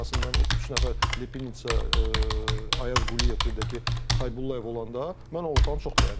Ən azından o üç nəfər, Ayaz Quliyev, bir də ki, Haybullayev olanda mən ortanı çox bəyənirəm.